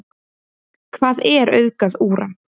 Hvað er auðgað úran?